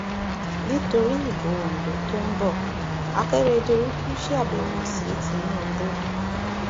nítorí ìbò ondo tó ń bo àkèrèdòlù ṣàbẹwò sí tìǹbù